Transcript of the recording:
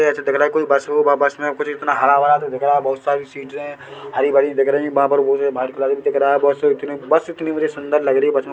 ये जो दिख रही कोई बस हैं बस में कुछ इतना हरा-भरा जो दिख रहा बहोत सारी-सीट हरी-भरी दिख रही हैं वहाँ पर वो जो वाइट कलर में दिख रहा हैं बस उतनी बस उतनी सुंदर लग रही हैं।